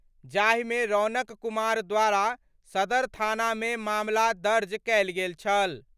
जाहि मे रौनक कुमार द्वारा सदर थाना मे मामला दर्ज कयल गेल छल।